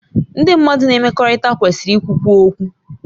Ndị mmadụ na mmekọrịta kwesịrị ikwukwu okwu